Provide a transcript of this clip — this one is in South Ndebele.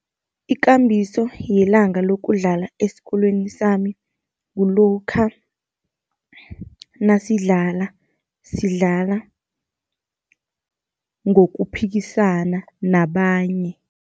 Ikambiso yelanga lokudlala esikolweni sami, kulokha nasidlala, sidlala ngokuphikisana nabanye.